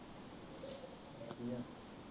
ਕੀ ਆ